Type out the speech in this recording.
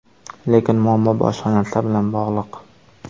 Lekin muammo boshqa narsa bilan bog‘liq.